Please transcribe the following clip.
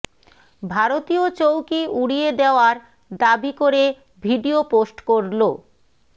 ভারতীয় চৌকি উড়িয়ে দেওয়ার দাবি করে ভিডিও পোস্ট করল